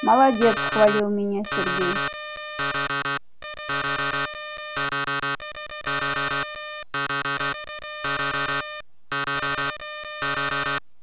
молодец хвалит меня сергей